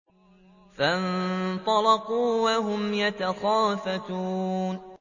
فَانطَلَقُوا وَهُمْ يَتَخَافَتُونَ